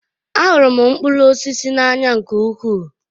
Ahụrụ m mkpụrụ osisi n'anya nke ukwuu